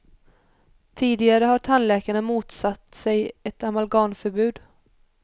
Tidigare har tandläkarna motsatt sig ett amalgamförbud.